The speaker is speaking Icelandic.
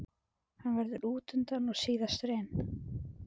Hann verður útundan og síðastur inn.